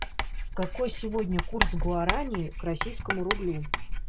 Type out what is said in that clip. какой сегодня курс гуарани к российскому рублю